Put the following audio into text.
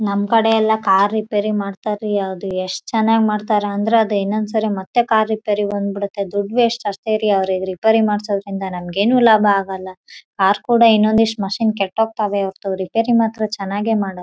ಇಬ್ಬರೂ ಜನ ಇದರ ಹುಡುಗರ್ ಇದ್ದಾರೆ.